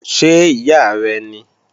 Ṣé ìyá rẹ́ ní?